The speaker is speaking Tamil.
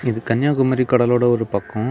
இது கன்னியாகுமரி கடலோடு ஒரு பக்ககோ.